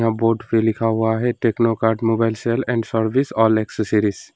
Board पे लिखा हुआ है techno cart mobile sale and service all accessories.